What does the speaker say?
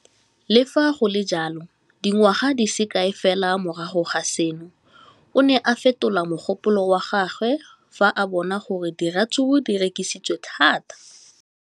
Le fa go le jalo, dingwaga di se kae fela morago ga seno, o ne a fetola mogopolo wa gagwe fa a bona gore diratsuru di rekisiwa thata.